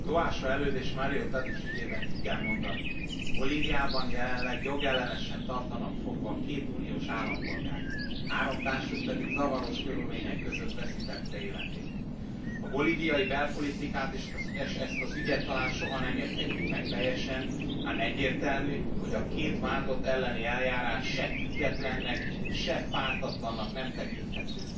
Tóásó Előd és Mario Tadic ügyében ki kell mondani Bolíviában jelenleg jogellenesen tartanak fogva két uniós állampolgárt, három társuk pedig zavaros körülmények között veszítette életét. A bolíviai belpolitikát és ezt az ügyet talán soha nem érthetjük meg teljesen, ám egyértelmű, hogy a két vádlott elleni eljárás se függetlennek, se pártatlannak nem tekinthető.